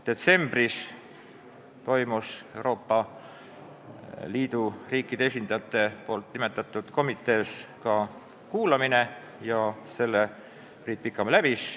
Detsembris toimus Euroopa Liidu riikide esindajate nimetatud komitees ka kuulamine ja selle Priit Pikamäe läbis.